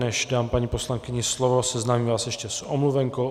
Než dám paní poslankyni slovo, seznámím vás ještě s omluvenkou.